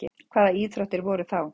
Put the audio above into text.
hvaða íþróttir voru þá